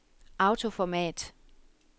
autoformat